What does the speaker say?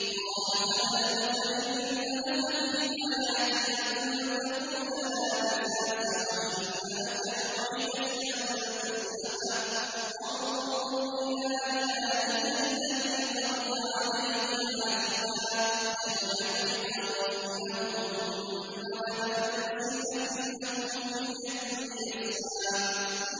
قَالَ فَاذْهَبْ فَإِنَّ لَكَ فِي الْحَيَاةِ أَن تَقُولَ لَا مِسَاسَ ۖ وَإِنَّ لَكَ مَوْعِدًا لَّن تُخْلَفَهُ ۖ وَانظُرْ إِلَىٰ إِلَٰهِكَ الَّذِي ظَلْتَ عَلَيْهِ عَاكِفًا ۖ لَّنُحَرِّقَنَّهُ ثُمَّ لَنَنسِفَنَّهُ فِي الْيَمِّ نَسْفًا